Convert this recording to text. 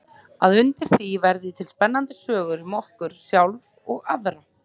Að undir því verði til spennandi sögur um okkur sjálf og aðra.